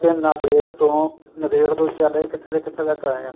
ਨਾਦੇੜ ਤੋਂ ਨਾਦੇੜ ਤੋਂ ਚੱਲ ਕੇ ਕਿੱਥੋ ਦੀ ਕਿੱਥੇ ਤੱਕ ਆਏ ਆ